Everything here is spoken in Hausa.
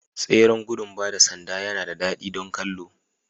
Tseren gudun ba da sanda yana da daɗi don kallo